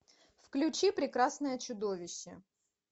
включи прекрасное чудовище